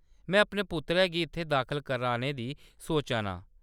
में अपने पुत्तरै गी इत्थै दाखल कराने दी सोचा ना आं।